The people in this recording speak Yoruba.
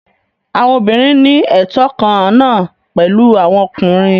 Àwọn obìnrin ní ẹtọ kan náà pẹ̀lú àwọn ọkùnrin.